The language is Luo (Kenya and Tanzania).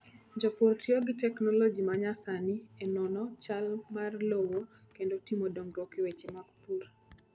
Jopur tiyo gi teknoloji ma nyasani e nono chal mar lowo kendo timo dongruok e weche mag pur.